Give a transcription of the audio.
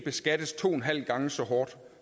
skat